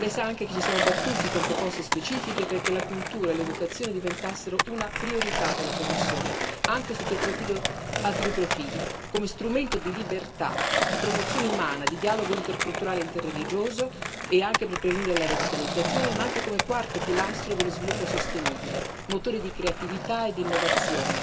Lei sa anche che ci siamo battuti con proposte specifiche perché la cultura e l'educazione diventassero una priorità della Commissione, anche sotto altri due profili come strumento di libertà, di promozione umana, di dialogo interculturale e interreligioso, e anche per prevenire la radicalizzazione, ma anche come quarto pilastro dello sviluppo sostenibile, motore di creatività e di innovazione,